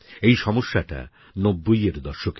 এই সমস্যাটা ৯০এর দশকের